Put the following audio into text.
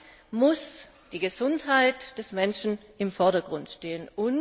Dabei muss die Gesundheit des Menschen im Vordergrund stehen.